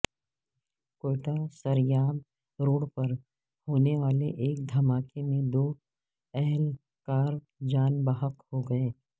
Quetta Sariab road پر ہونے والے ایک دھماکے میں دو اہل کار جان بحق ہوگئے